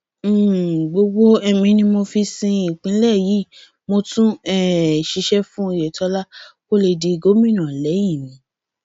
um gbogbo ẹmí mi ni mo fi sin ìpínlẹ yìí mo tún um ṣiṣẹ fún oyetola kó lè di gómìnà lẹyìn mi